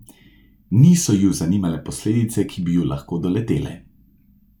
Niso ju zanimale posledice, ki bi ju lahko doletele.